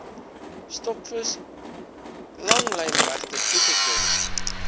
stokvis langlynregte toegeken